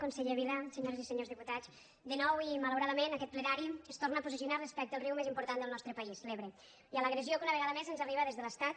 conseller vila senyores i senyors diputats de nou i malauradament aquest plenari es torna a posicionar respecte al riu més important del nostre país l’ebre i a l’agressió que una vegada més ens arriba des de l’estat